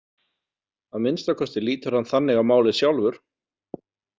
Að minnsta kosti lítur hann þannig á málið sjálfur.